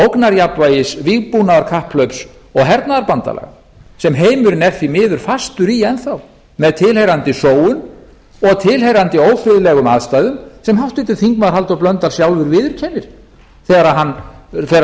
ógnarjafnvægis vígbúnaðarkapphlaups og hernaðarbandalaga sem heimurinn er því miður fastur í enn þá með tilheyrandi sóun og tilheyrandi ófriðlegum aðstæðum sem háttvirtur þingmaður halldór blöndal sjálfur viðurkennir þegar hann fer að reyna